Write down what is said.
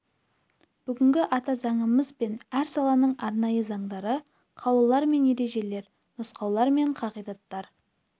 бүгінгі ата заңымыз бен әр саланың арнайы заңдары қаулылар мен ережелер нұсқаулар мен қағидаттар